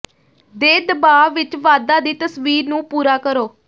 ਦੇ ਦਬਾਅ ਵਿੱਚ ਵਾਧਾ ਦੀ ਤਸਵੀਰ ਨੂੰ ਪੂਰਾ ਕਰੋ